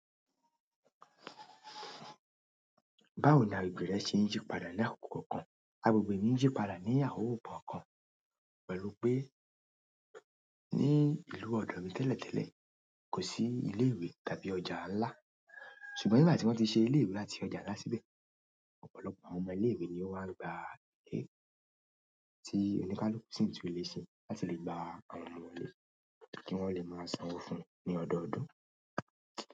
Báwo ni àwọn àgbègberè ṣe ń yí padà ní àkókò kan? Àgbègbè mí ń yí padà ní àwòbò kan pẹ̀lú pé ní ìlú ọ̀dọ̀ mi tẹ́lẹ̀ tẹ́lẹ̀ kò sí ilé ìwé tàbí ọjà ńlá. Ṣùgbọ́n nígbà tí wọ́n ti ṣe ilé ìwé àti ọjà ńlá síbẹ̀, ọ̀pọ̀lọpọ̀ àwọn ọmọ ilé ìwé ni ó máa ń gba ilé tí oníkálùú sin tu ilé ṣe láti lè gba àwọn ọmọ wọlé kí wọ́n lè máa sanwó fún ní ọdọọdún.